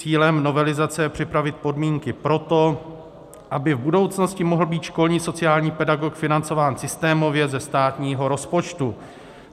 Cílem novelizace je připravit podmínky pro to, aby v budoucnosti mohl být školní sociální pedagog financován systémově ze státního rozpočtu.